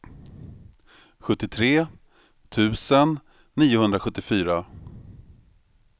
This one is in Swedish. sjuttiotre tusen niohundrasjuttiofyra